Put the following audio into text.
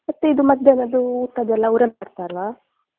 ಮತ್ತೆ ಇದು ಮಧ್ಯಾನದ್ದು ಊಟದ್ದು ಎಲ್ಲ ಅವ್ರೆ ಮಾಡ್ತಾರಾ?